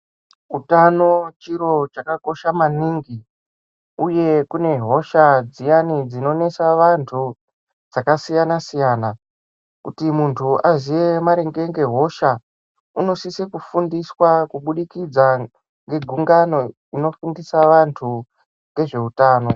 Utano chiro chakakosha maningi uye kune hosha dziyani dzinonesa vanthu dzakasiyana siyana kuti munthu aziye maringe ngehosha unosise kufundiswa kubudikidza ngegungano inofundisa vanthu ngezveutano.